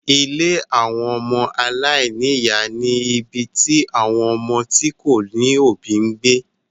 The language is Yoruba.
Ilé àwọn ọmọ aláìní ìyá ni ibi tí àwon ọmọ tí kò lóbìí ń gbé.